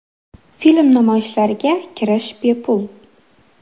Film namoyishlariga kirish bepul.